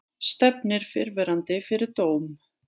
Stefnir fyrrverandi fyrir dóm